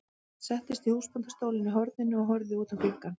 Hann settist í húsbóndastólinn í horninu og horfði út um gluggann.